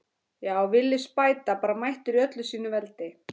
Já, Villi spæta bara mættur í öllu sínu veldi!